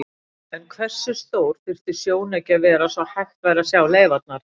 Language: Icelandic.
En hversu stór þyrfti sjónauki að vera svo hægt væri að sjá leifarnar?